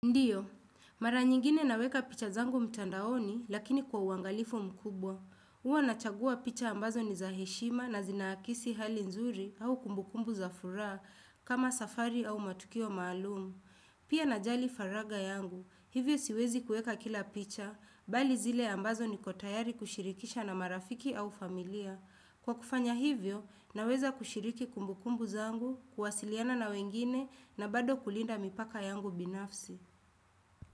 Ndiyo, mara nyingine naweka picha zangu mtandaoni lakini kwa uangalifu mkubwa. Uwa nachagua picha ambazo ni za heshima na zinaakisi hali nzuri au kumbukumbu za furaa kama safari au matukio maalumu. Pia na jali faraga yangu, hivyo siwezi kueka kila picha, bali zile ambazo niko tayari kushirikisha na marafiki au familia. Kwa kufanya hivyo, naweza kushiriki kumbukumbu zangu, kuwasiliana na wengine na bado kulinda mipaka yangu binafsi.